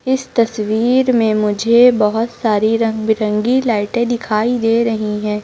इस तस्वीर में मुझे बहोत सारी रंग बिरंगी लाइटे दिखाई दे रही है।